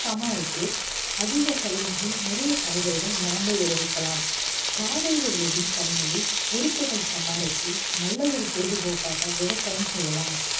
சமாளித்து அதிக செலவின்றி நிறைய காய்கறிகள் நாமே விளைவிக்கலாம் நாகரிக உலகின் தனிமையை விருப்புகள் சமாளித்து நல்ல ஒரு பொழுதுபோக்காக விவசாயம் செய்யலாம்